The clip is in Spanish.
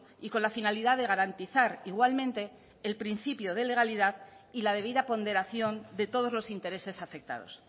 y con la finalidad de garantizar igualmente el principio de legalidad y la debida ponderación de todos los intereses afectados